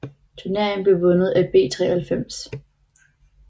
Turneringen blev vundet af B 93